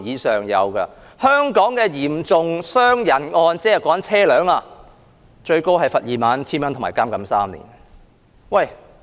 在香港，導致嚴重傷人的交通意外，最高可判罰款 21,000 元及監禁3年。